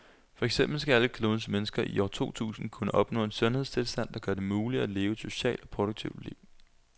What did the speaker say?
For eksempel skal alle klodens mennesker i år to tusind kunne opnå en sundhedstilstand, der gør det muligt at leve et socialt og produktivt liv.